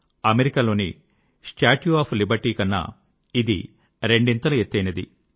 అమెరికాలోని statue of Liberty కన్నా ఇది రెండింతలు ఎత్తైనది